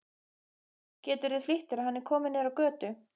Geturðu flýtt þér. hann er kominn niður á götu!